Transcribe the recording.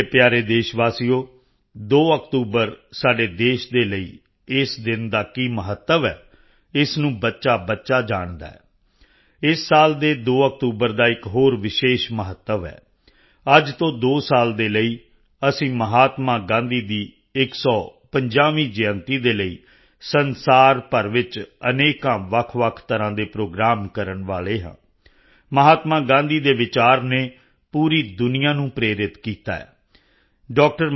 ਮੇਰੇ ਪਿਆਰੇ ਦੇਸ਼ ਵਾਸੀਓ 2 ਅਕਤੂਬਰ ਸਾਡੇ ਦੇਸ਼ ਦੇ ਲਈ ਇਸ ਦਿਨ ਦਾ ਕੀ ਮਹੱਤਵ ਹੈ ਇਸ ਨੂੰ ਬੱਚਾਬੱਚਾ ਜਾਣਦਾ ਹੈ ਇਸ ਸਾਲ ਦੇ 2 ਅਕਤੂਬਰ ਦਾ ਇੱਕ ਹੋਰ ਵਿਸ਼ੇਸ਼ ਮਹੱਤਵ ਹੈ ਅੱਜ ਤੋਂ 2 ਸਾਲ ਦੇ ਲਈ ਅਸੀਂ ਮਹਾਤਮਾ ਗਾਂਧੀ ਦੀ 150ਵੀਂ ਜਯੰਤੀ ਦੇ ਲਈ ਸੰਸਾਰ ਭਰ ਵਿੱਚ ਅਨੇਕ ਵੱਖਵੱਖ ਤਰ੍ਹਾਂ ਦੇ ਪ੍ਰੋਗਰਾਮ ਕਰਨ ਵਾਲੇ ਹਾਂ ਮਹਾਤਮਾ ਗਾਂਧੀ ਦੇ ਵਿਚਾਰ ਨੇ ਪੂਰੀ ਦੁਨੀਆ ਨੂੰ ਪ੍ਰੇਰਿਤ ਕੀਤਾ ਹੈ ਡਾ